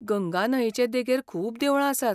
गंगा न्हंयचे देगेर खूब देवळां आसात.